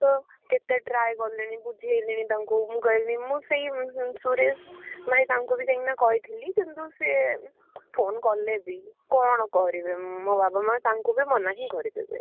ମୁଁ ତ କେତେ try କଲେଣି ବୁଝେଇଲେଣି ତାଙ୍କୁ ମୁଁ କହିଲି ମୁଁ ସେଇ ସୁରେଶ ଭାଇ ତାଙ୍କୁ ବି ଯାଇକିନା କହିଥିଲି କିନ୍ତୁ ସେ phone କଲେ ବି କଣ କରିବେ ମୋ ବାବା ମାଆ ତାଙ୍କୁ ବି ମନା ହିଁ କରିଦେଲେ।